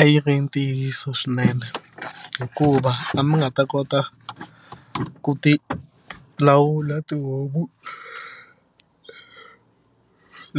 A yi ri ntiyiso swinene hikuva a mi nga ta kota ku tilawula tihomu